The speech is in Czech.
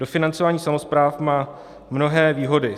Dofinancování samospráv má mnohé výhody.